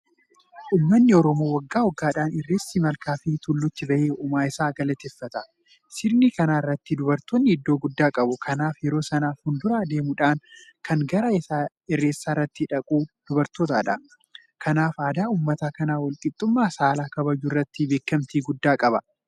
Uummanni Oromoo waggaa waggaadhaan irreessa malkaafi tulluutti bahee uumaa isaa galateeffata. Sirna kana irratti dubartoonni iddoo guddaa qabu. Kanaaf yeroo sana fuundura deemuudhaan kan gara irreessaatti dhaqu dubartootadha. Kanaaf aadaan uummata kanaa walqixxummaa saalaa kabajuu irratti beekamtii guddaa qaba.